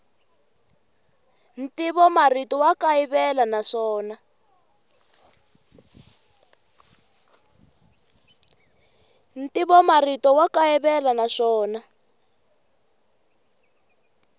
ntivomarito wa kayivela naswona